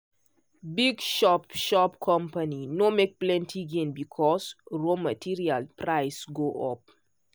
big shop shop company no make plenty gain because raw material price go up.